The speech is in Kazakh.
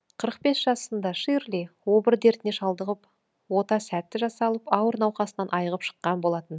қырық бес жасында ширли обыр дертіне шалдығып ота сәтті жасалып ауыр науқасынан айығып шыққан болатын